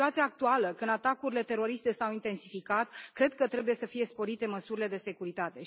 În situația actuală, când atacurile teroriste s au intensificat, cred că trebuie să fie sporite măsurile de securitate.